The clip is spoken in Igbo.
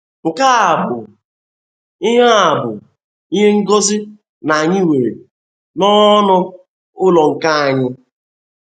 Nke a bụ ihe a bụ ihe ngozi na Anyị nwere nnọọ ọnụ ụlọ nke anyị.